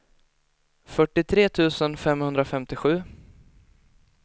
fyrtiotre tusen femhundrafemtiosju